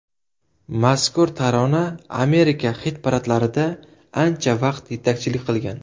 Mazkur tarona Amerika xit-paradlarida ancha vaqt yetakchilik qilgan.